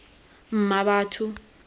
mmabatho